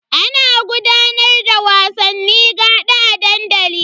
Ana gudanar da wasanni gaɗa a dandali.